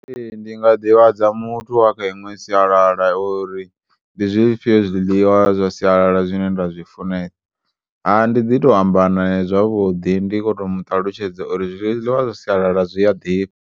Ee, ndinga ḓi vhadza muthu wa kha iṅwe siyalala uri ndi zwifhiyo zwiḽiwa zwa siyalala zwine nda zwifunesa, ha ndiḓito amba naye zwavhuḓi ndi khoto muṱalutshedza uri zwiḽiwa zwa siyalala zwi ya ḓifha.